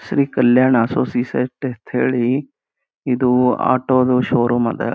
Shri Kalyana associates ಅಂತ ಹೇಳಿ ಇದು ಆಟೋದು ಷೋರೂಮ್ ಅದ.